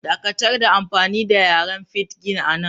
Dakatar da amfani da yaren Pidgin anan!